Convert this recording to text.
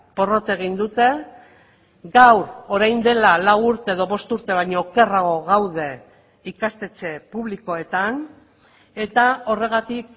porrot egin dute gaur orain dela lau urte edo bost urte baino okerrago gaude ikastetxe publikoetan eta horregatik